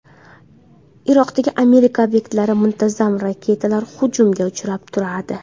Iroqdagi Amerika obyektlari muntazam raketalar hujumiga uchrab turadi.